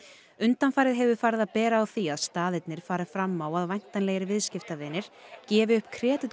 undanfarið hefur farið að bera á því að staðirnir fari fram á að væntanlegir viðskiptavinir gefi upp